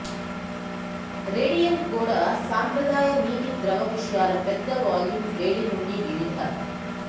radiant గోడ సంప్రదాయ నీటి ద్రవ విషయాల పెద్ద వాల్యూమ్ వేడి నుండి వివిధ